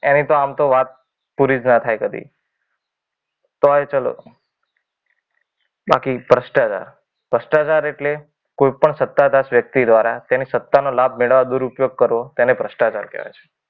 એ તો આમ તો વાત પૂરી જ ન થાય કદી. તોય ચાલો બાકી ભ્રષ્ટાચાર ભ્રષ્ટાચાર એટલે કોઈ પણ સતાધાર વ્યક્તિ દ્વારા તેની સત્તાનો લાભ મેળવવા દૂર ઉપયોગ કરવો તેને ભ્રષ્ટાચાર કહેવાય છે.